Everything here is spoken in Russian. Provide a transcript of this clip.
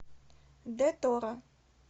д тора